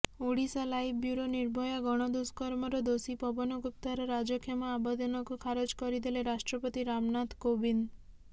Odisha live bureau Nirbhaya ଗଣଦୁଷ୍କର୍ମର ଦୋଷୀ ପବନ ଗୁପ୍ତାର ରାଜକ୍ଷମା ଆବେଦନକୁ ଖାରଜ କରିଦେଲେ ରାଷ୍ଟ୍ରପତି ରାମନାଥ କୋବିନ୍ଦ